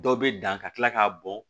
Dɔ bɛ dan ka tila k'a bɔn